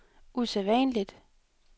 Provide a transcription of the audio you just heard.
usædvanligt